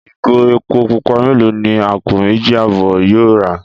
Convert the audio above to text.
Ìgò epo pupa mélòó ni àpò méjì àbọ̀ yóò rà?